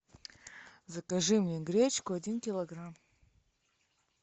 закажи мне гречку один килограмм